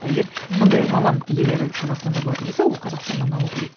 ы егер сондай маман иелері қазақстанда болатын болса ол қазақстаннан алу керек